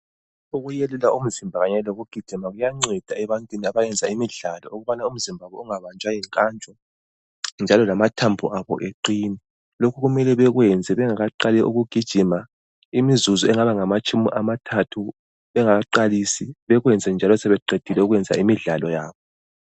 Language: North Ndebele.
Ukuyelula umzimba kanye lokugijima kuyanceda ebantwini abayenza imidlalo. Ukubana imizimba yabo ingabanjwa yinkantsho, njalo lamathambo abo eqine. Lokhu kumele bakwenze bengakaqali ukugijima, imizuzu engaba ngamatshumi amathathu bengakaqalisi. Bakwenze njalo, sebeqedile imidlalo yabo.